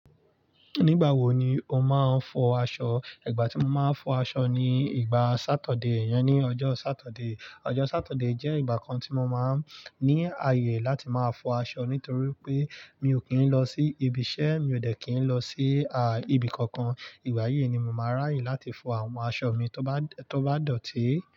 Ní gbà wo ni ó máa ń fọ aṣọ? Ìgbà tí mo máa ń fọ aṣọ ni ìgbà Satọde, yẹn ni ọjọ́ Satọde. Ọjọ́ Satọde jẹ́ ìgbà kan tí mo máa ń ní àyè láti máa fọ aṣọ nítorí pé mi ò kí ń lọ sí ibi iṣẹ́, mi ò dẹ́ kí ń lọ sí, à, ibi kankan. Ìwá yìí ni mo máa ráyè láti fọ àwọn aṣọ mi tó bá, tó bá dọ̀tí.